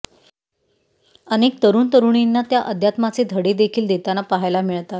अनेक तरुण तरुणींना त्या अध्यात्माचे धडे देखील देताना पहायला मिळतात